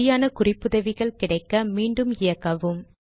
சரியான குறிப்புதவிகள் கிடைக்க மீண்டும் இயக்கவும்